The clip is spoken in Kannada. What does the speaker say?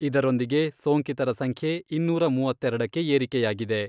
ಇದರೊಂದಿಗೆ ಸೋಂಕಿತರ ಸಂಖ್ಯೆ ಇನ್ನೂರ ಮೂವತ್ತೆರಡಕ್ಕೆ ಏರಿಕೆಯಾಗಿದೆ.